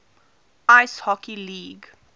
ice hockey league